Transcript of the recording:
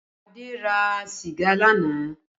Adé ra sìgá lánàá